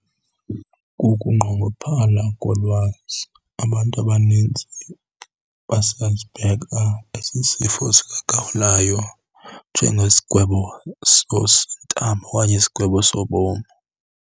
Kukungqongophala kolwazi. Abantu abanintsi basasibheka esi sifo sikagawulayo njengesigwebo sentambo okanye isigwebo sobomi.